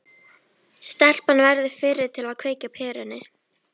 Stelpan verður fyrri til að kveikja á perunni.